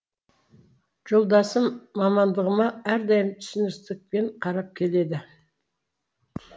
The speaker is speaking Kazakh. жолдасым мамандығыма әрдайым түсіністікпен қарап келеді